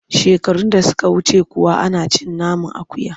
Shekarun da suka wuce kuwa ana cin naman akuya?